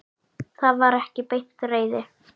Það var ekki beint reiði.